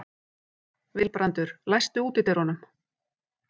Vilbrandur, læstu útidyrunum.